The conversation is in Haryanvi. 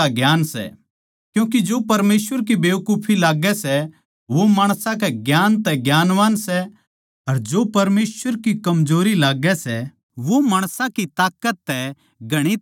क्यूँके जो परमेसवर की बेकुफी लाग्गै सै वो माणसां के ज्ञान तै ज्ञानवान सै अर जो परमेसवर की कमजोरी लाग्गै सै वो माणसां की ताकत तै घणी ताकतवर सै